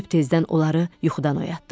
Sübh tezdən onları yuxudan oyatdıq.